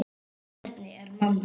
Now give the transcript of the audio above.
Hvernig er mamma þín?